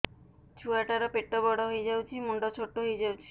ଛୁଆ ଟା ର ପେଟ ବଡ ହେଇଯାଉଛି ମୁଣ୍ଡ ଛୋଟ ହେଇଯାଉଛି